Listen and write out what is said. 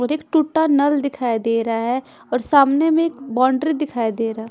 और एक टूटा नल दिखाई दे रहा है और सामने में बाउंड्री दे रा--